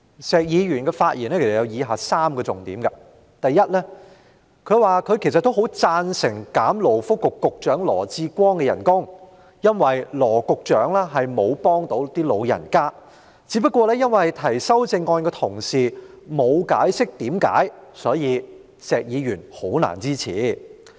石議員的發言其實有3個重點：第一，他說他其實也很贊成削減勞工及福利局局長羅致光的薪酬，因為羅局長並沒有幫得到長者，只不過提出該項修正案的同事沒有解釋原因，因此石議員難以支持。